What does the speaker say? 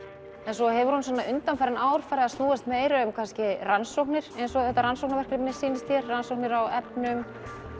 svo hefur hún undanfarin ár farið að snúast meira um kannski rannsóknir eins og þetta rannsóknarverkefni sýnist þér rannsóknir á efnum